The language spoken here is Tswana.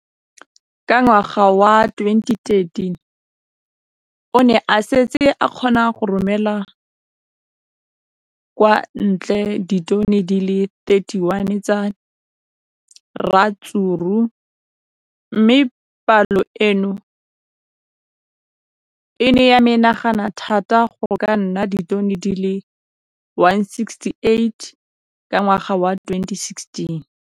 Ka ngwaga wa 2015, o ne a setse a kgona go romela kwa ntle ditone di le 31 tsa ratsuru mme palo eno e ne ya menagana thata go ka nna ditone di le 168 ka ngwaga wa 2016.